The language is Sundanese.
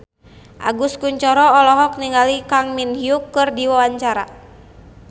Agus Kuncoro olohok ningali Kang Min Hyuk keur diwawancara